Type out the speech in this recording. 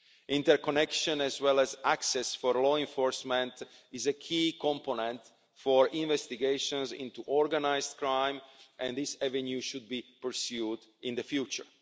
Interconnection as well as access for law enforcement is a key component for investigations into organised crime, and this avenue should be pursued in the future.